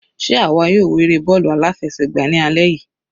Sé àwa yóò wo eré bọ́ọ̀lù aláfẹsẹ̀gbá ní alẹ́ yìí?